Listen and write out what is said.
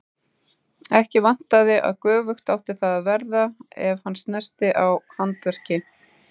Ekki vantaði að göfugt átti það að verða ef hann snerti á handverki.